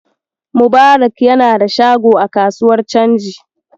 Mubarak yana da shago a kasuwar canji.